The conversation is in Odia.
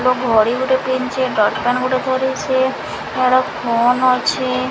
ଘଡି ଗୁଟେ ପିନଚି ଡଟ୍ ପେନ୍ ଗୁଟେ ଧରିଛି ଫୋନ୍ ଅଛି।